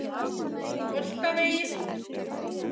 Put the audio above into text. Holtavegi